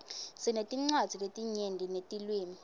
sinetincwadzi letinyenti netilwimi